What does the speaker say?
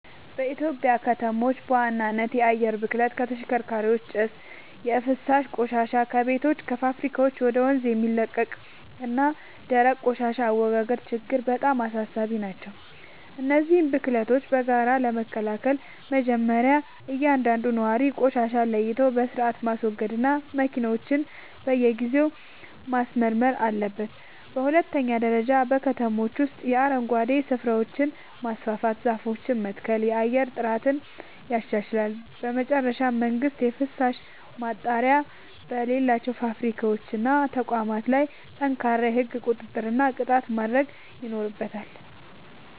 በኢትዮጵያ ከተሞች በዋናነት የአየር ብክለት (ከተሽከርካሪዎች ጭስ)፣ የፍሳሽ ቆሻሻ (ከቤቶችና ከፋብሪካዎች ወደ ወንዝ የሚለቀቅ) እና የደረቅ ቆሻሻ አወጋገድ ችግሮች በጣም አሳሳቢ ናቸው። እነዚህን ብክለቶች በጋራ ለመከላከል መጀመርያ እያንዳንዱ ነዋሪ ቆሻሻን ለይቶ በሥርዓት ማስወገድና መኪናውን በየጊዜው ማስመርመር አለበት። በሁለተኛ ደረጃ በከተሞች ውስጥ የአረንጓዴ ስፍራዎችን ማስፋፋትና ዛፎችን መትከል የአየር ጥራትን ያሻሽላል። በመጨረሻም መንግሥት የፍሳሽ ማጣሪያ በሌላቸው ፋብሪካዎችና ተቋማት ላይ ጠንካራ የሕግ ቁጥጥርና ቅጣት ማድረግ ይኖርበታል።